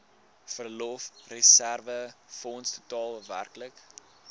verlofreserwefonds totaal werklik